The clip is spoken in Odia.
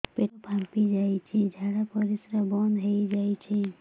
ପେଟ ଫାମ୍ପି ଯାଇଛି ଝାଡ଼ା ପରିସ୍ରା ବନ୍ଦ ହେଇଯାଇଛି